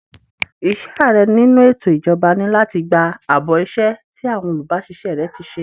Iṣẹ́ Ààrẹ nínú ètò ìjọba ni láti gba àbọ̀ iṣẹ́ tí àwọn olubasise rẹ ti ṣe.